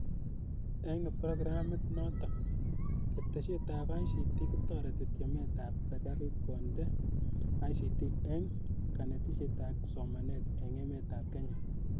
Eng' programit nootok, ketesyet ap ICT kotareti tyemet ap serkaliit kondena ICT eng' kaanetisiet ak somanet eng' emet ap kenya.